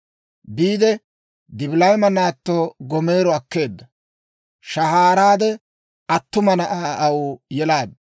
Biide, Dibilayima naatto Gomeero akkeedda; shahaaraade, attuma na'aa aw yelaaddu.